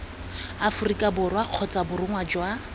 aforika borwa kgotsa borongwa jwa